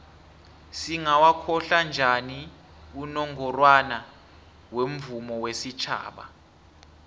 singawokhohla njani unongorwana womvumo wesitjhaba